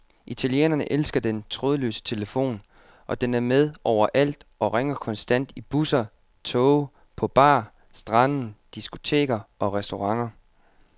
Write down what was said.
Italienerne elsker den trådløse telefon, og den er med overalt og ringer konstant i busser, toge, på bar, stranden, diskoteker og restauranter.